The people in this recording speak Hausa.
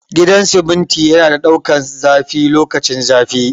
Gidan siminti yana da daukan zafi lokacin zafi